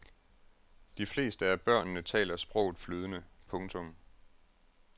De fleste af børnene taler sproget flydende. punktum